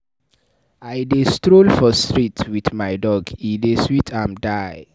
I dey stroll for street wit my dog, e dey sweet am die.